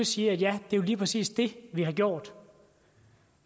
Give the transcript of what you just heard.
sige ja det er lige præcis det vi har gjort